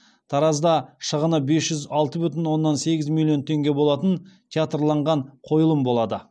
таразда шығыны бес жүз алты бүтін оннан сегіз миллион теңге болатын театрланған қойылым болады